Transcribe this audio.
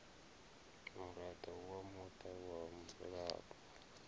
muraḓo wa muṱa wa mudzulapo